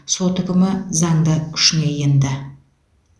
сот үкімі заңды күшіне енді